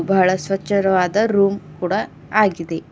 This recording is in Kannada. ಬಹಳ ಸ್ವಚರವಾದ ರೂಮ್ ಕೂಡ ಆಗಿದೆ.